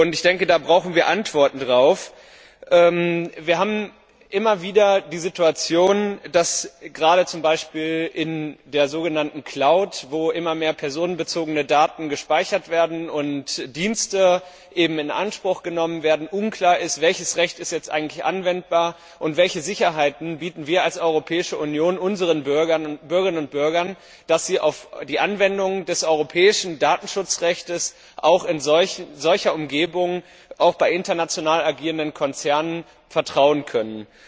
Ich denke, darauf brauchen wir Antworten. Wir haben immer wieder die Situation, dass gerade zum Beispiel in der sogenannten Cloud wo immer mehr personenbezogene Daten gespeichert und Dienste in Anspruch genommen werden, unklar ist, welches Recht jetzt eigentlich anwendbar ist und welche Sicherheiten wir als Europäische Union unseren Bürgerinnen und Bürgern bieten, damit sie auf die Anwendung des europäischen Datenschutzrechtes auch in solcher Umgebung oder auch bei international agierenden Konzernen vertrauen können.